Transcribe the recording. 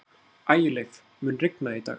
Ægileif, mun rigna í dag?